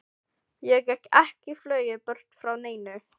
Og ég get ekki flogið burt frá neinu.